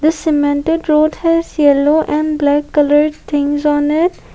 the cemented roads has yellow and block colour things honour.